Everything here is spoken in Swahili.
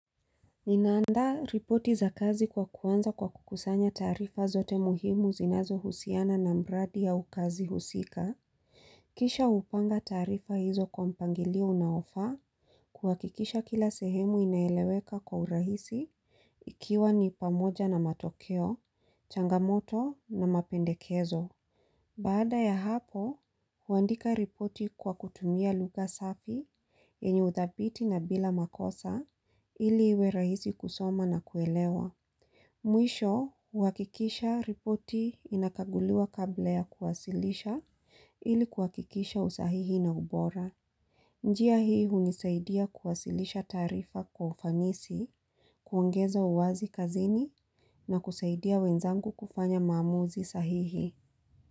Ninaandaa ripoti za kazi kwa kuanza kwa kukusanya taarifa zote muhimu zinazo husiana na mradi au kazi husika. Kisha hupanga taarifa hizo kwa mpangilio unaofaa kwa kuhakikisha kila sehemu inaeleweka kwa urahisi ikiwa ni pamoja na matokeo, changamoto na mapendekezo. Baada ya hapo, huandika ripoti kwa kutumia lugha safi yenye uthabiti na bila makosa ili iwe rahisi kusoma na kuelewa. Mwisho, huhakikisha ripoti inakaguliwa kabla ya kuwasilisha ili kuhakikisha usahihi na ubora. Njia hii hunisaidia kuwasilisha taarifa kwa ufanisi, kuongeza uwazi kazini na kusaidia wenzangu kufanya maamuzi sahihi.